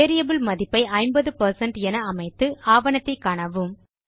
variable மதிப்பை 50 என அமைத்து ஆவணத்தை காணவும்